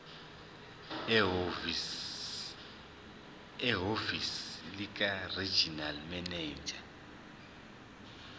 ehhovisi likaregional manager